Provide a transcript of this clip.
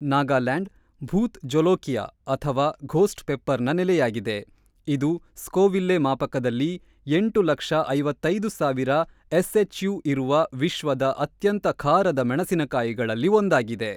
ನಾಗಾಲ್ಯಾಂಡ್‌ ಭೂತ್‌ ಜೋಲೋಕಿಯಾ ಅಥವಾ ಘೋಸ್ಟ್ ಪೆಪ್ಪರ್‌ನ ನೆಲೆಯಾಗಿದೆ, ಇದು ಸ್ಕೋವಿಲ್ಲೆ ಮಾಪಕದಲ್ಲಿ ಎಂಟು ಲಕ್ಷ ಐವತ್ತ್ ಐದು ಸಾವಿರ ಎಸ್‌ಎಚ್‌ಯು ಇರುವ ವಿಶ್ವದ ಅತ್ಯಂತ ಖಾರದ ಮೆಣಸಿನಕಾಯಿಗಳಲ್ಲಿ ಒಂದಾಗಿದೆ.